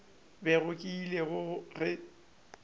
bego ke ile go e